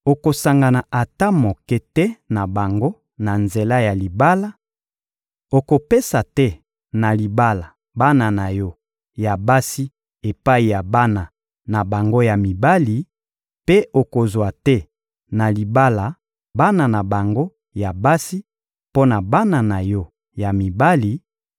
Okosangana ata moke te na bango na nzela ya libala, okopesa te na libala bana na yo ya basi epai ya bana na bango ya mibali, mpe okozwa te na libala bana na bango ya basi mpo na bana na yo ya mibali;